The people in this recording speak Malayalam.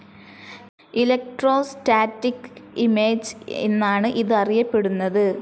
ഇലക്ട്രോസ്റ്റാറ്റിക്‌ ഇമേജ്‌ എന്നാണ് ഇതറിയപ്പെടുന്നത്.